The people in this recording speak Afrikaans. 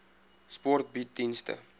sport bied dienste